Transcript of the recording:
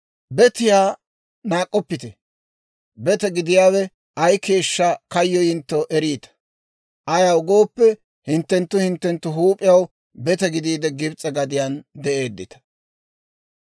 «Betiyaa naak'k'oppite; bete gidiyaawe ay keeshshaa kayyoyintto eriita; ayaw gooppe, hinttenttu hinttenttu huup'iyaw bete gidiide Gibs'e gadiyaan de'eedditta.